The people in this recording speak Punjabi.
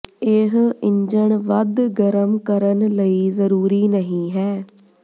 ਇਹ ਇੰਜਣ ਵੱਧ ਗਰਮ ਕਰਨ ਲਈ ਜ਼ਰੂਰੀ ਨਹੀ ਹੈ